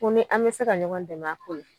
Ko ni an be se ka ɲɔgɔn dɛmɛ a ko la